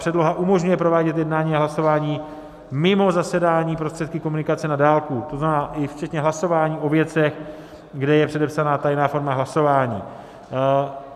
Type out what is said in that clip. Předloha umožňuje provádět jednání a hlasování mimo zasedání prostředky komunikace na dálku, to znamená i včetně hlasování o věcech, kde je předepsaná tajná forma hlasování.